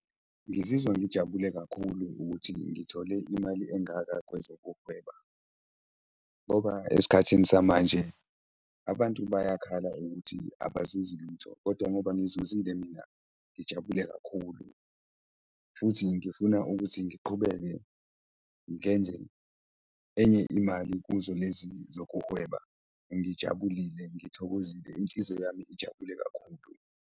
Ngizizwa ngijabule kakhulu ukuthi ngithole imali engaka kwezokuhweba ngoba esikhathini samanje abantu bayakhala ukuthi abazuzi lutho kodwa ngoba ngizuzile mina, ngijabule kakhulu futhi ngifuna ukuthi ngiqhubeke ngenze enye imali kuzo lezi zokuhweba. Ngijabulile, ngithokozile, inhliziyo yami ijabule kakhulu.